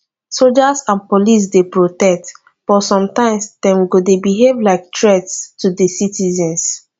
soldiers and police dey protect but sometimes dem go dey behave like threats to di citizens